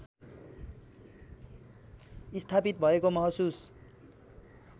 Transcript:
स्थापित भएको महसुस